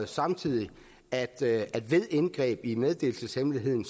samtidig at ved indgreb i meddelelseshemmeligheden